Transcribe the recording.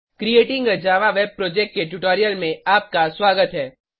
creating a Java web project के tutorial में आपका स्वागत है